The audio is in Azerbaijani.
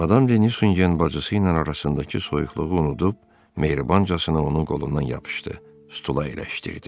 Madam Denisonsun bacısı ilə arasındakı soyuqluğu unudub, mehribancasına onun qolundan yapışdı, stula əyləşdirdi.